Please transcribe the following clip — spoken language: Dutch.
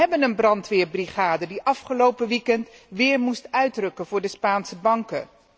Wij hebben een brandweerbrigade, die afgelopen weekend weer moest uitrukken voor de Spaanse banken.